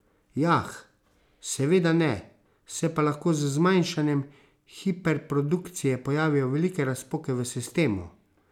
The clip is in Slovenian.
Jah, seveda ne, se pa lahko z zmanjšanjem hiperprodukcije pojavijo velike razpoke v sistemu.